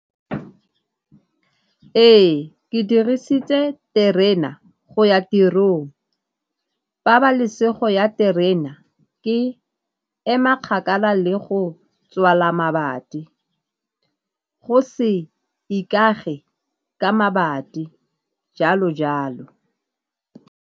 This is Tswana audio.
Ee, ke dirisitse terena go ya tirong, pabalesego ya terena ke ema kgakala le go tswala mabati, go se ikage ka mabati, jalo jalo.